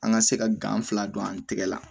An ka se ka gan fila don an tɛgɛ la